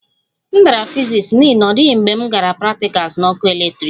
M dara fiziks n'ihi na ọ dịghị mgbe m gara praktikals na ọkụ eletrik